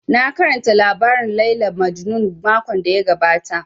Na karanta labarin Layla Majnun makon da ya gabata